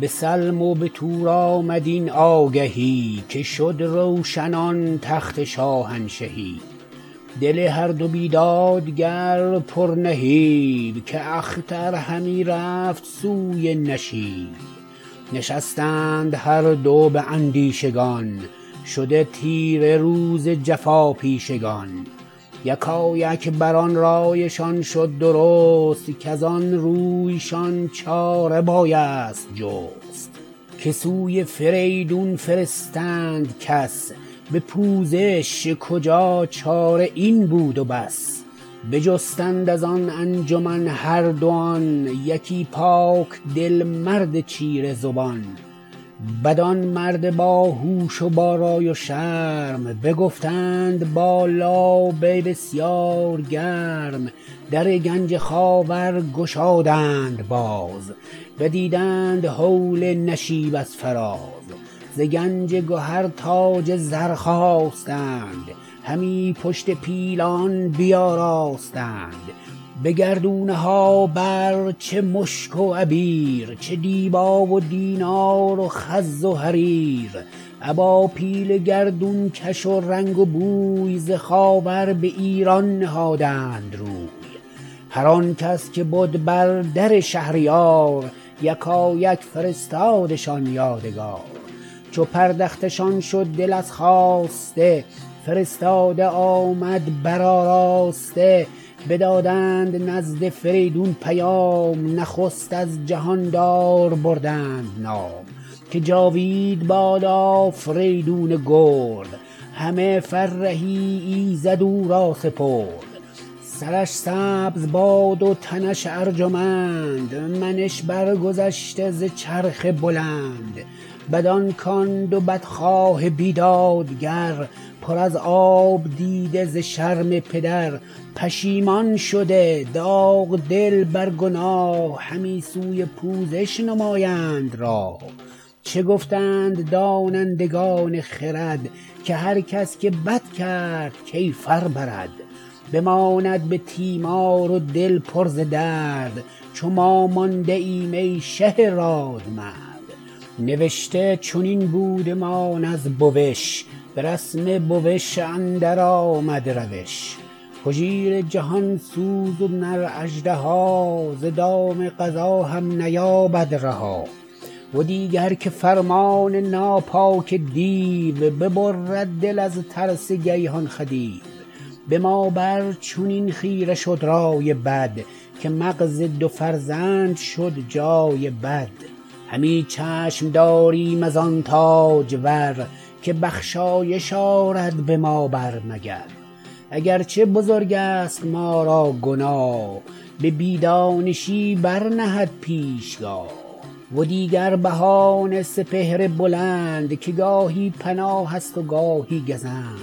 به سلم و به تور آمد این آگهی که شد روشن آن تخت شاهنشهی دل هر دو بیدادگر پر نهیب که اختر همی رفت سوی نشیب نشستند هر دو به اندیشگان شده تیره روز جفاپیشگان یکایک بران رایشان شد درست کزان روی شان چاره بایست جست که سوی فریدون فرستند کس به پوزش کجا چاره این بود بس بجستند از آن انجمن هردوان یکی پاک دل مرد چیره زبان بدان مرد باهوش و با رای و شرم بگفتند با لابه بسیار گرم در گنج خاور گشادند باز بدیدند هول نشیب از فراز ز گنج گهر تاج زر خواستند همی پشت پیلان بیاراستند به گردونه ها بر چه مشک و عبیر چه دیبا و دینار و خز و حریر ابا پیل گردونکش و رنگ و بوی ز خاور به ایران نهادند روی هر آنکس که بد بر در شهریار یکایک فرستادشان یادگار چو پردخته شان شد دل از خواسته فرستاده آمد برآراسته بدادند نزد فریدون پیام نخست از جهاندار بردند نام که جاوید باد آفریدون گرد همه فرهی ایزد او را سپرد سرش سبز باد و تنش ارجمند منش برگذشته ز چرخ بلند بدان کان دو بدخواه بیدادگر پر از آب دیده ز شرم پدر پشیمان شده داغ دل بر گناه همی سوی پوزش نمایند راه چه گفتند دانندگان خرد که هر کس که بد کرد کیفر برد بماند به تیمار و دل پر ز درد چو ما مانده ایم ای شه رادمرد نوشته چنین بودمان از بوش به رسم بوش اندر آمد روش هژبر جهانسوز و نر اژدها ز دام قضا هم نیابد رها و دیگر که فرمان ناپاک دیو ببرد دل از ترس گیهان خدیو به ما بر چنین خیره شد رای بد که مغز دو فرزند شد جای بد همی چشم داریم از آن تاجور که بخشایش آرد به ما بر مگر اگر چه بزرگست ما را گناه به بی دانشی برنهد پیشگاه و دیگر بهانه سپهر بلند که گاهی پناهست و گاهی گزند